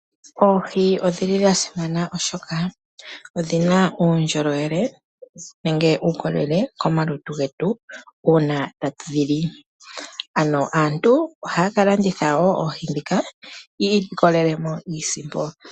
Oohi odha simana oshoka odhina uundjolowele. Ohadhi gandja uukolele komalutu getu shampa twedhi li . Aantu ohaya ka landitha woo oohi yi ilikolelemo iisimpo.